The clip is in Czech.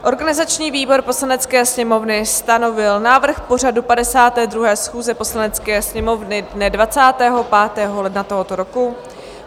Organizační výbor Poslanecké sněmovny stanovil návrh pořadu 52. schůze Poslanecké sněmovny dne 25. ledna tohoto roku.